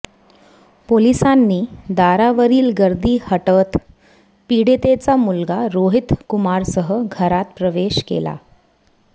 पोलिसांनी दारावरील गर्दी हटवत पीडितेचा मुलगा रोहित कुमारसह घरात प्रवेश केला